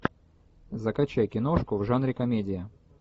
закачай киношку в жанре комедия